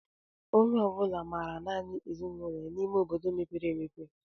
Onye ọbula maara nanị ezinụlọ ya n'ime obodo mepere emepe.